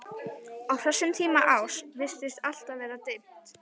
Á þessum tíma árs virtist alltaf vera dimmt.